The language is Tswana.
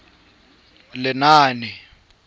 lenaane